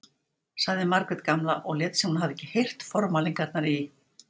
sagði Margrét gamla og lét sem hún hefði ekki heyrt formælingarnar í